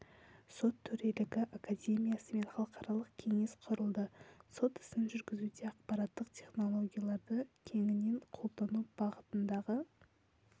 сот төрелігі академиясы мен халықаралық кеңес құрылды сот ісін жүргізуде ақпараттық технологияларды кеңінен қолдану бағытындағы